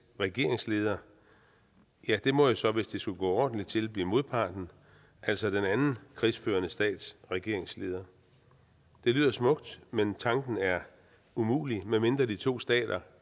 regeringsleder ja det må jo så hvis det skulle gå ordentligt til blive modparten altså den anden krigsførende stats regeringsleder det lyder smukt men tanken er umulig medmindre de to stater